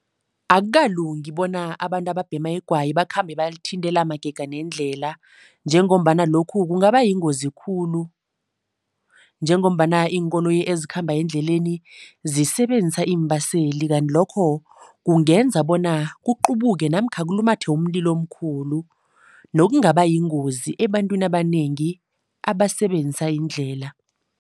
Akukalungi bona abantu ababhema igwayi bakhambe balithintela magega nendlela njengombana lokhu kungaba yingozi khulu njengombana iinkoloyi ezikhamba endleleni zisebenzisa iimbaseli kanti lokho kungenza bona kuqubuke namkha kulumathe umlilo omkhulu, nokungaba yingozi ebantwini abanengi abasebenzisa iindlela.